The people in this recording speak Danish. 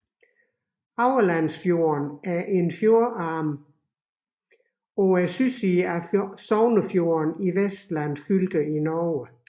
Aurlandsfjorden er en fjordarm på sydsiden af Sognefjorden i Vestland fylke i Norge